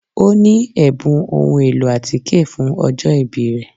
O ni ẹbun ohun elo atike fun ọjọ-ibi rẹ